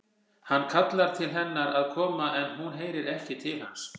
Hann kallar til hennar að koma en hún heyrir ekki til hans.